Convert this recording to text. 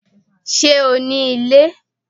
Ṣé o ní ilé?